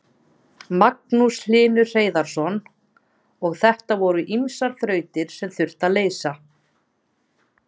Magnús Hlynur Hreiðarsson: Og þetta voru ýmsar þrautir sem þurfti að leysa?